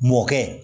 Mɔkɛ